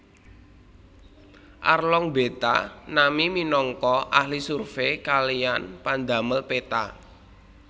Arlong mbeta Nami minangka ahli survey kaliyan pandamel peta